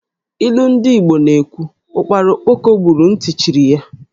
Ilu ndị Igbo na-ekwu, Ụ́kpárá Ókpókò gburu, ntị chiri ya